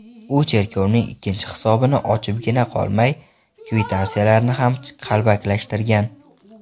U cherkovning ikkinchi hisobini ochibgina qolmay, kvitansiyalarni ham qalbakilashtirgan.